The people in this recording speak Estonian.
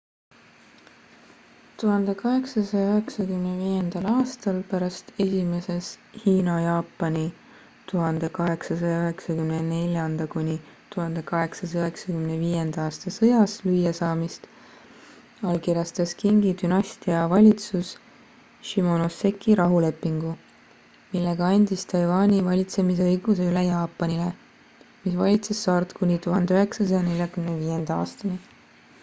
1895. aastal pärast esimeses hiina-jaapani 1894–1895 sõjas lüüasaamist allkirjastas qingi dünastia valitsus shimonoseki rahulepingu millega andis taiwani valitsemisõiguse üle jaapanile mis valitses saart kuni 1945. aastani